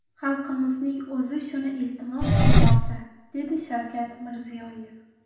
Xalqimizning o‘zi shuni iltimos qilmoqda”, dedi Shavkat Mirziyoyev.